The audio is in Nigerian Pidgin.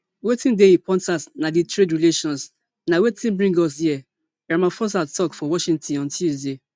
wetin dey important na di trade relations na wetin bring us here ramaphosa tok for washington on tuesday